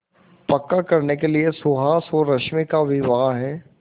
पक्का करने के लिए सुहास और रश्मि का विवाह